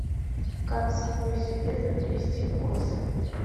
как самой себе заплести косы